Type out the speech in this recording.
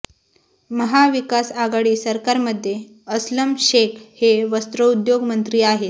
महाविकास आघाडी सरकारमध्ये असलम शेख हे वस्रउद्योग मंत्री आहेत